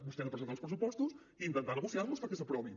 vostè ha de presentar uns pressupostos i intentar negociar los perquè s’aprovin